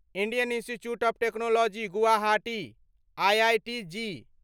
Indian Institute of Technology Guwahati IIT JEE